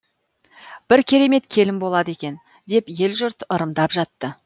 бір керемет келін болады екен деп ел жұрт ырымдап жатты